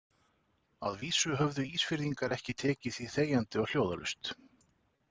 Að vísu höfðu Ísfirðingar ekki tekið því þegjandi og hljóðalaust.